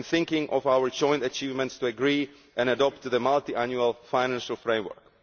I am thinking of our joint achievements to agree and adopt the multiannual financial framework.